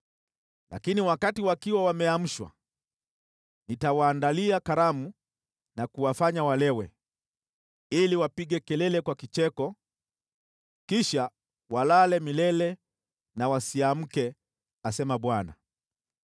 Lakini wakati wakiwa wameamshwa, nitawaandalia karamu na kuwafanya walewe, ili wapige kelele kwa kicheko, kisha walale milele na wasiamke,” asema Bwana .